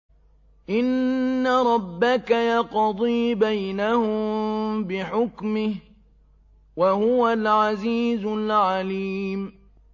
إِنَّ رَبَّكَ يَقْضِي بَيْنَهُم بِحُكْمِهِ ۚ وَهُوَ الْعَزِيزُ الْعَلِيمُ